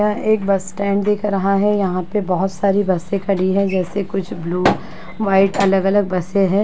यह एक bus stand दिख रहा है। यहाँ पे बोहोत सारी बसें खड़ी हैं जैसे कुछ ब्लू व्हाइट अलग-अलग बसें हैं।